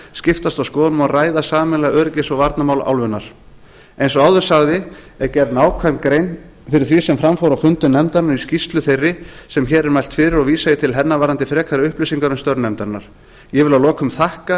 skiptast á skoðunum og ræða sameiginleg öryggis og varnarmál álfunnar eins og áður sagði er gerð nákvæm grein fyrir því sem fram fór á fundum nefndarinnar í skýrslu þeirri sem hér er mælt fyrir og vísa ég til hennar varðandi frekari upplýsingar um störf nefndarinnar ég vil að lokum þakka